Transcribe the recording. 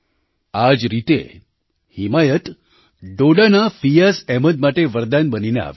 આ જ રીતે હિમાયત ડોડાના ફિયાઝ અહમદ માટે વરદાન બનીને આવ્યો